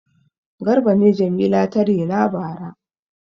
Garba ne Jamila ta rena bara.